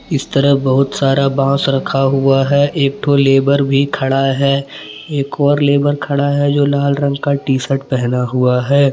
इस तरह बहुत सारा बांस रखा हुआ है एक तो लेबर भी खड़ा है एक और लेबर खड़ा है जो लाल रंग का टी शर्ट पहना हुआ है।